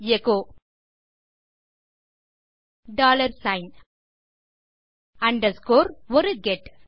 echo pin dollar sign underscore ஒரு get